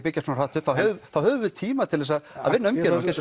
byggja svona hratt upp þá höfum við tíma til þess að að vinna umgjörðina ég